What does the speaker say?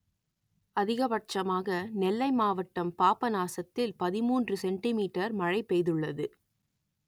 அதிகபட்சமாக நெல்லை மாவட்டம் பாபநாசத்தில் பதிமூன்று சென்டி மீட்டர் மழை பெய்துள்ளது